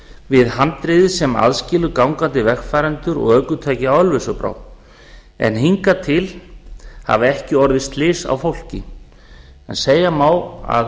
við handrið sem aðskilur gangandi vegfarendur og ökutæki á ölfusárbrú en hingað til hafa ekki orðið slys á fólki en segja má að